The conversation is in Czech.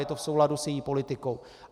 Je to v souladu s její politikou.